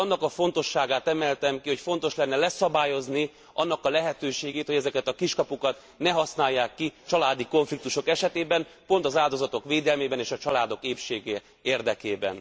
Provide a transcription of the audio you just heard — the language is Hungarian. És annak a fontosságát emeltem ki, hogy fontos lenne leszabályozni annak a lehetőségét, hogy ezeket a kiskapukat ne használják ki családi konfliktusok esetében pont az áldozatok védelmében és a családok épsége érdekében.